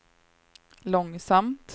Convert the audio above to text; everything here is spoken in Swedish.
långsamt